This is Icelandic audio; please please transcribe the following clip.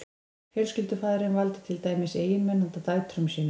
fjölskyldufaðirinn valdi til dæmis eiginmenn handa dætrum sínum